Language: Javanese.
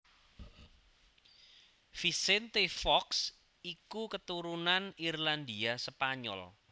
Vicente Fox iku keturunan Irlandia Spanyol